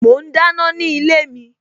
Mo ń dáná ni ilé mi